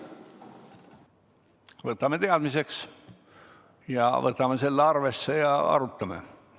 Võtame teadmiseks, võtame selle arvesse ja arutame.